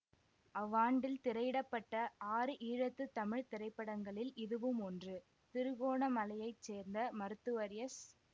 அவ்வாண்டில் திரையிட பட்ட ஆறு ஈழத்து தமிழ் திரைப்படங்களில் இதுவுமொன்று திருகோணமலையைச் சேர்ந்த மருத்துவர் எஸ்